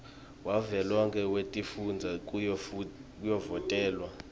wavelonkhe wetifundza kuyovotelwa